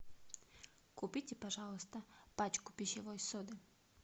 купите пожалуйста пачку пищевой соды